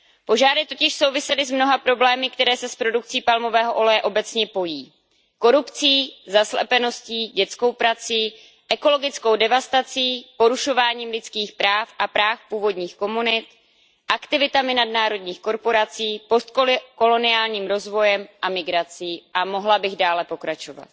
Požáry totiž souvisely s mnoha problémy, které se s produkcí palmového oleje obecně pojí korupcí, zaslepeností, dětskou prací, ekologickou devastací, porušováním lidských práv a práv původních komunit, aktivitami nadnárodních korporací, post koloniálním rozvojem a migrací a mohla bych dále pokračovat.